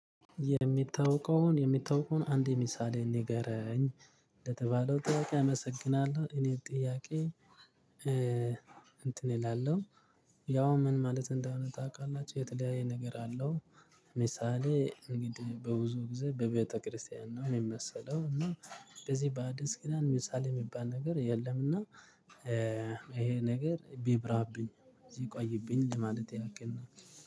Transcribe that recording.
የሚታወቀውን የሚታወቀውን አንድ ምሳሌ ንገረኝ ለተባለው ጥያቄ አመሰግናለሁ እኔ ጥያቄ እንትን እላለሁ ያው ምን ማለት እንደሆነ ታውቃላችሁ የተለያየ ነገር አለው ምሳሌ እንግዲህ በብዙ ጊዜ በቤተክርስቲያን ነው የሚመሰለው እና በዚህ በአዲስ ኪዳን ምሳሌ የሚባል ነገር የለምና ይሄ ነገር ቢብራብኝ እዚህ ቆይብኝ ለማለት ያክል ነው።